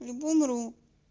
либо умру